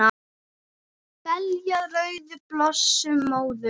Belja rauðar blossa móður